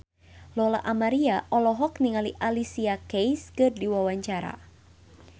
Lola Amaria olohok ningali Alicia Keys keur diwawancara